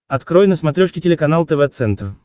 открой на смотрешке телеканал тв центр